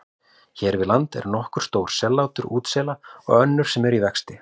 Hér við land eru nokkur stór sellátur útsela og önnur sem eru í vexti.